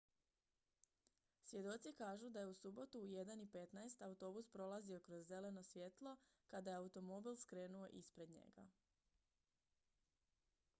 svjedoci kažu da je u subotu u 1:15 autobus prolazio kroz zeleno svjetlo kada je automobil skrenuo ispred njega